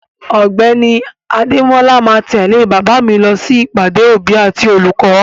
Ọ̀gbẹ́ni Adémọ́la ma tẹ̀lé bàbá mi lọ sí ìpàdé òbí àti olùkọ́.